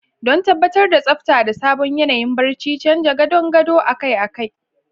Don tabbatar da tsabta da sabon yanayin barci, canza gadon gado akai-akai.